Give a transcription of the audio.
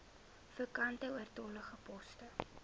vakante oortollige poste